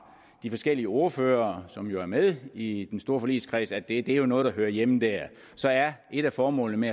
de forskellige ordførere som jo er med i den store forligskreds at det jo er noget der hører hjemme der så er et af formålene med